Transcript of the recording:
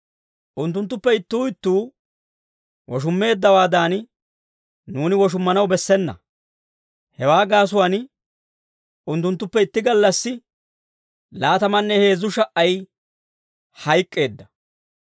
Unttunttuppe ittuu ittuu woshummeeddawaadan, nuuni woshummanaw bessena. Hewaa gaasuwaan unttunttuppe itti gallassi laatamanne heezzu sha"ay hayk'k'eedda.